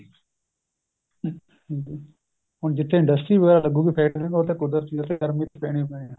ਹੁਣ ਜਿੱਥੇ industry ਵਗੈਰਾ ਲੱਗੂਗੀ ਫ਼ੇਰ ਤਾਂ ਉੱਥੇ ਕੁਦਰਤੀ ਆ ਉੱਥੇ ਗਰਮੀ ਪੈਣੀ ਓ ਪੈਣੀ ਆ